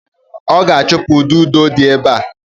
Oga achupu ududo di ebe a.